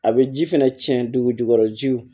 A bɛ ji fɛnɛ cɛn dugu jukɔrɔ jiw